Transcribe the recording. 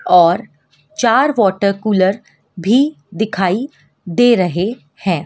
और चार water cooler भी दिखाई दे रहे है।